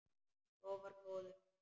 Lofar góðu.